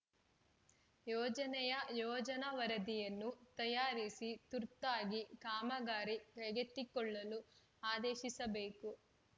ಯೋಜನೆಯ ಯೋಜನಾ ವರದಿಯನ್ನು ತಯಾರಿಸಿ ತುರ್ತಾಗಿ ಕಾಮಗಾರಿ ಕೈಗೆತ್ತಿಕೊಳ್ಳಲು ಆದೇಶಿಸಬೇಕು